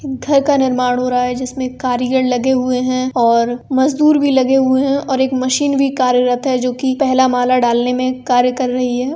एक घर का निर्माण हो रहा है जिसमें कारीगर लगे हुए हैं और मजदूर भी लगे हुए हैं और एक मशीन भी कार्यरत है जोकि पहला माला डालने में कार्य कर रही है।